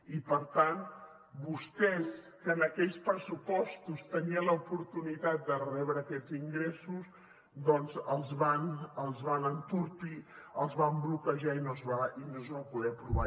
i per tant vostès que en aquells pressupostos tenien l’oportunitat de rebre aquests ingressos doncs els van entorpir els van bloquejar i no es van poder aprovar